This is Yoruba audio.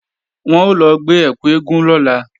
Wọn ó lọ gbé ẹkù eégún lọ́la